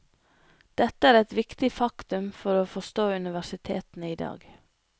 Dette er et viktig faktum for å forstå universitetene i dag.